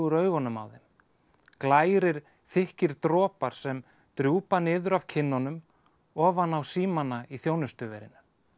augunum á þeim glærir þykkir dropar sem drjúpa niður af kinnunum ofan á símana í þjónustuverinu